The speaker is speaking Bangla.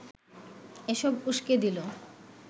এসব উসকে দিল